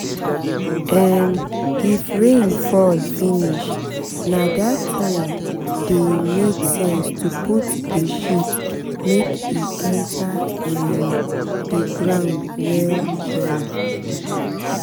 um if rain fall finish na that time dey make sense to put the shit make e enter um the ground well.